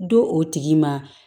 Di o tigi ma